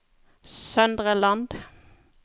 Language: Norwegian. Søndre Land